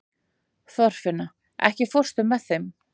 Þorfinna, ekki fórstu með þeim?